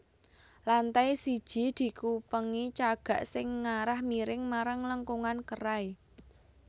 Lantai siji dikupengi cagak sing ngarah miring marang lengkungan kerai